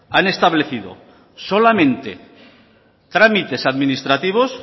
han establecido solamente trámites administrativos